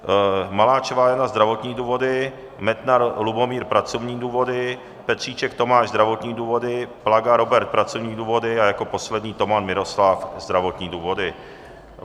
Maláčová Jana, zdravotní důvody, Metnar Lubomír, pracovní důvody, Petříček Tomáš, zdravotní důvody, Plaga Robert, pracovní důvody, a jako poslední Toman Miroslav, zdravotní důvody.